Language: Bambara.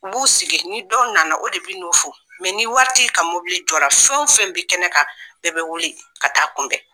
U b'u sigi ni dɔ nana o de bɛ n'u fo , mɛ ni waritigi nana ka mobili jɔra fɛn o fɛn bɛ kɛnɛ kan bɛɛ bɛ wuli ka taa kunbɛn!